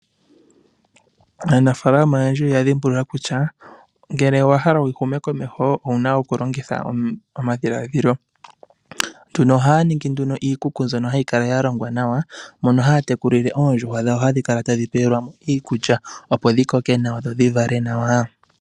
Aanafaalama oyendji oya dhimbulula kutya ngele owa hala wu hume komeho owuna okulongitha omadhiladhilo. Nduno ohaa ningi iikuku mbyono hayi kala ya longwa nawa mono haa tekulile oondjuhwa dhawo hadhi kala tadhi pewelwa mo iikulya opo dhi koke nawa dho dhi vale nawa.